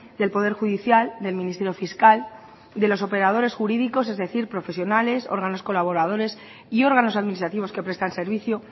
del poder judicial del ministerio fiscal de los operadores jurídicos es decir profesionales órganos colaboradores y órganos administrativos que prestan servicio